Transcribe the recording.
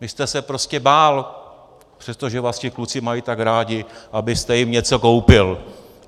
Vy jste se prostě bál, přestože vás ti kluci mají tak rádi, abyste jim něco koupil.